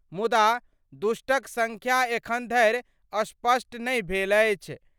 मुदा, दुष्टक संख्या एखन धरि स्पष्ट नहि भेल अछि।